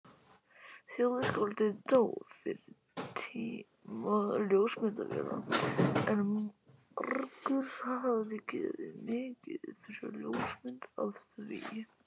Þjóðskáldið dó fyrir tíma ljósmyndavéla en margur hefði gefið mikið fyrir ljósmynd af því.